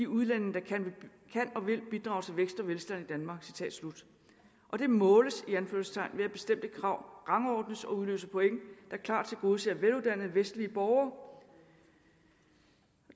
udlændinge der kan og vil bidrage til vækst og velstand i danmark og det måles i anførselstegn ved at bestemte krav rangordnes og udløser point der klart tilgodeser veluddannede vestlige borgere